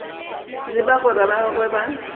le bagwera ba gagwe ba